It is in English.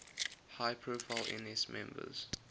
high profile ns members